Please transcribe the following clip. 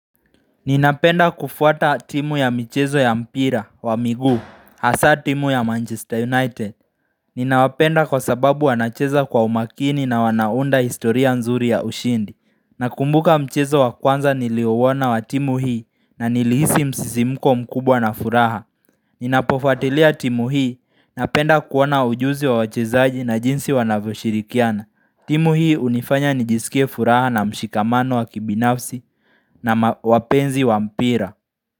Ninapenda kufuata timu ya michezo ya mpira wa miguu, hasa timu ya Manchester United. Ninawapenda kwa sababu wanacheza kwa umakini na wanaunda historia nzuri ya ushindi. Nakumbuka mchezo wa kwanza niliouona wa timu hii na nilihisi msisi mko mkubwa na furaha. Ninapofuatilia timu hii na penda kuona ujuzi wa wachezaji na jinsi wanavoshirikiana. Timu hii unifanya nijisikie furaha na mshikamano wa kibinafsi na wapenzi wa mpira.